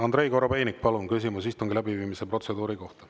Andrei Korobeinik, palun küsimus istungi läbiviimise protseduuri kohta.